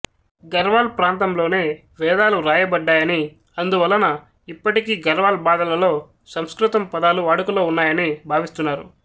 ఘర్వాల్ ప్రాంతంలోనే వేదాలు వ్రాయబడ్డాయని అందువలన ఇప్పటికీ ఘర్వాల్ భాధలలో సంస్కృతం పదాలు వాడుకలో ఉన్నాయని భావిస్తున్నారు